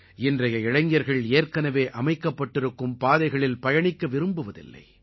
இன்றைய இளைஞர்கள் ஏற்கனவே அமைக்கப்பட்டிருக்கும் பாதைகளில் பயணிக்க விரும்புவதில்லை